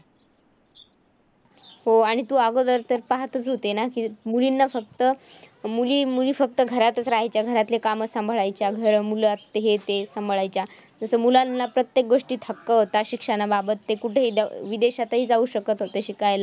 हो, आणि तू अगोदर तर पाहतचं होती ना? की मुलींना फक्त मुली मुली फक्त घरातचं राहायच्या. घरातले कामं सांभाळायच्या. घर, मुलं हे ते सांभाळायच्या. तसं मुलांना प्रत्येक गोष्टीत हक्क होता शिक्षणाबाबत ते कुठेही विदेशातही जाऊ शकत होते शिकायला.